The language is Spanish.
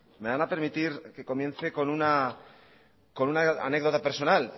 me van a permitir que comience con una anécdota personal